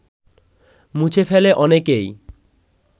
মুছে ফেলে অনেককেই